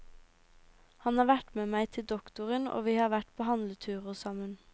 Han har vært med meg til doktoren og vi har vært på handleturer sammen.